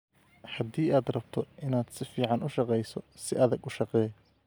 Haddii aad rabto inaad si fiican u shaqeyso si adag u shaqee